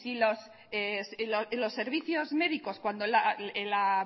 si los servicios médicos cuando la